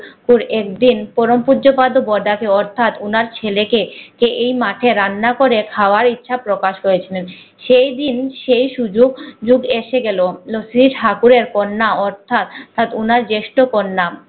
পুকুর একদিন পরমপূজ প্ৰদ বদ আছে অথাৎ ওনার ছেলেকে এই মাঠে রান্না করে খাওয়া ইচ্ছা প্রকাশ করেছিলেন। সেই দিন সে সুযোগ যুগ এসে গেল রফরি কাঠুরে কন্যা অথাৎ অথাৎ ওনার জ্যেষ্ঠ কন্যা